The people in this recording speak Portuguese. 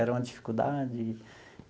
Era uma dificuldade.